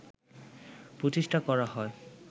প্রতিষ্ঠা করা হয়